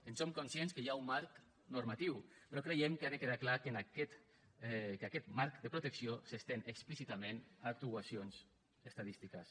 en som conscients que hi ha un marc normatiu però creiem que ha de quedar clar que aquest marc de protecció s’estén explícitament a actuacions estadístiques